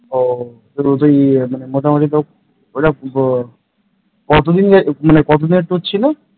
ও তুই মোটামুটি তাও ওইটা কত দিনের কত দিনের tour ছিল